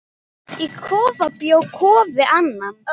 Í kofa bjó Kofi Annan.